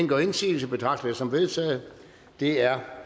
gør indsigelse betragter jeg det som vedtaget det er